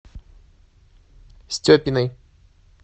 степиной